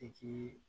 I k'i